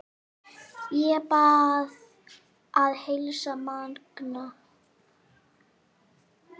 Ég bið að heilsa Manga!